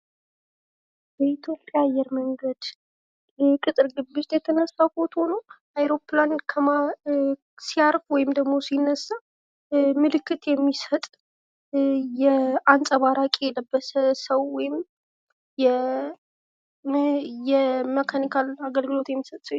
በኢትዮጵያ አየር መንገድ ቅጥር ግቢ ውስጥ የተነሳ ፎቶ ነው። አይሮፕላን ከመሀል ሲያርፍ ወይም ደግሞ ሲነሳ ምልክት የሚሰጥ አንጸባራቂ የለበሰ ሰው ወይም የመካኒካል አገልግሎት የሚሰጥ ሰውዬ ነው።